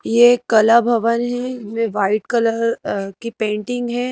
ये एक कला भवन है इसमें व्हाइट कलर अ की पेंटिंग है।